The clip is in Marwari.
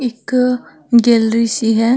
एक ग्रेलि सी है।